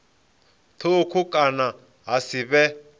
thukhu kana ha si vhe